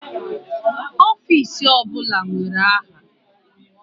Ọfisi ọbụla nwere aha.